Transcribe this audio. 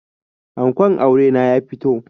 Ankon aure na ya fito